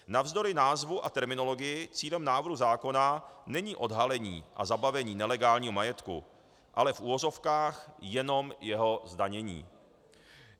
Navzdory názvu a terminologii, cílem návrhu zákona není odhalení a zabavení nelegálního majetku, ale - v uvozovkách - jenom jeho zdanění.